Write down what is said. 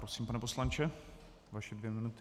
Prosím, pane poslanče, vaše dvě minuty.